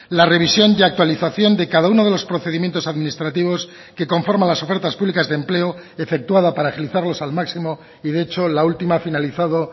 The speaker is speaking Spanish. la revisión y actualización de cada uno de los procedimientos administrativos que conforman las ofertas públicas de empleo efectuada para agilizarlos al máximo y de hecho la última ha finalizado